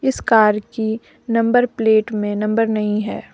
इस कार की number plate में नंबर नहीं है।